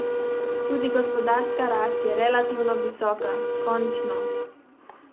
Tudi gospodarska rast je relativno visoka, končno!